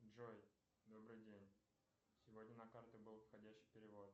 джой добрый день сегодня на карту был входящий перевод